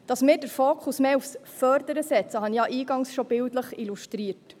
Dass wir den Fokus mehr aufs Fördern legen, habe ich ja eingangs schon bildlich illustriert.